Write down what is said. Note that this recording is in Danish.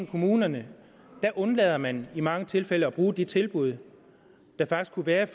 i kommunerne undlader man i mange tilfælde at bruge de tilbud der faktisk kunne være